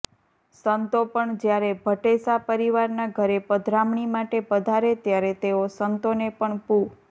સંતો પણ જ્યારે ભટ્ટેસા પરિવારના ઘરે પધરામણી માટે પધારે ત્યારે તેઅો સંતોને પણ પૂ